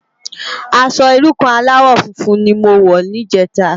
Aṣò irú kàn álàwò fúnfún ni mó wò nijètá